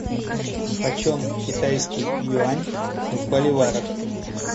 почем китайский юань в боливарах